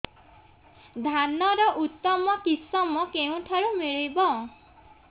ଧାନର ଉତ୍ତମ କିଶମ କେଉଁଠାରୁ ମିଳିବ